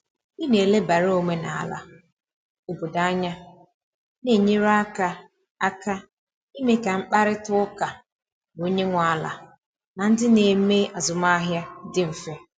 Ị na elebara omenala obodo anya na enyere aka aka ime ka mkparịta ụka na onye nwe ala na ndị na eme azụmahịa dị mfe.